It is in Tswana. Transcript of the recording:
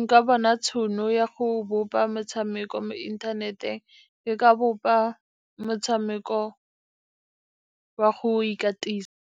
nka bona tšhono ya go bopa motshameko mo inthaneteng, ke ka bopa motshameko wa go ikatisa.